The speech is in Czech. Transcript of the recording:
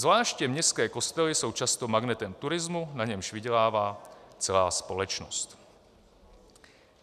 Zvláště městské kostely jsou často magnetem turismu, na němž vydělává celá společnost.